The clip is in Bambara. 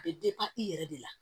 A bɛ i yɛrɛ de la